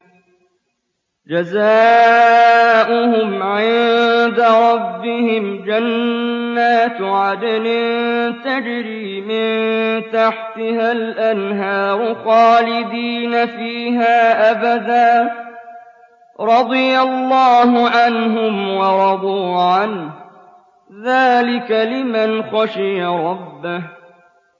جَزَاؤُهُمْ عِندَ رَبِّهِمْ جَنَّاتُ عَدْنٍ تَجْرِي مِن تَحْتِهَا الْأَنْهَارُ خَالِدِينَ فِيهَا أَبَدًا ۖ رَّضِيَ اللَّهُ عَنْهُمْ وَرَضُوا عَنْهُ ۚ ذَٰلِكَ لِمَنْ خَشِيَ رَبَّهُ